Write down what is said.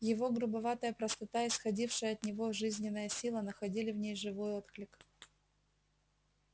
его грубоватая простота исходившая от него жизненная сила находили в ней живой отклик